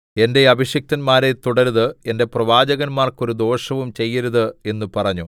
എന്റെ അഭിഷിക്തന്മാരെ തൊടരുത് എന്റെ പ്രവാചകന്മാർക്ക് ഒരു ദോഷവും ചെയ്യരുത് എന്നു പറഞ്ഞു